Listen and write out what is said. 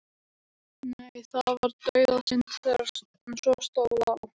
Nei, það var dauðasynd þegar svo stóð á.